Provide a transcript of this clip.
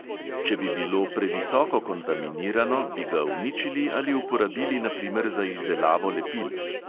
Če bi bilo previsoko kontaminirano, bi ga uničili ali uporabili na primer za izdelavo lepil.